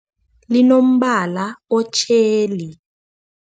Linombala otjheli.